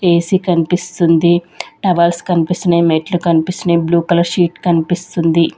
AC కనిపిస్తుంది towels కనిపిస్తున్నాయి మెట్లు కనిపిస్తున్నాయి బ్లూ కలర్ షీట్ కనిపిస్తుంది.